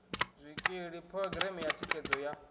zwikili phurogireme ya thikhedzo ya